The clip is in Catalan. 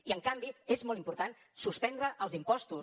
i en canvi és molt important suspendre els impostos